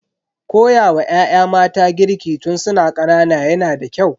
Koyawa ya'ya mata girki tun su na ƙanana yana da kyau.